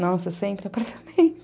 Nossa, sempre em apartamento.